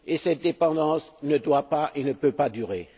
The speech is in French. Cette dépendance ne doit pas et ne peut pas durer.